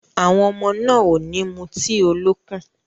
Àwọn ọmọ náà ò ní mu tíì olókùn.